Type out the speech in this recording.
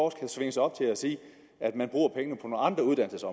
kan svinge sig op til at sige at man